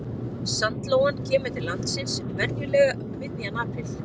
Sandlóan kemur til landsins venjulega um miðjan apríl.